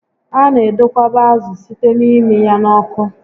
A na edokwaba ázụ site n'ịmị ya n'oku